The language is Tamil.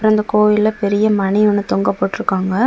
இந்தக் கோயில்ல பெரிய மணி ஒன்னு தொங்க போட்டு இருக்காங்க.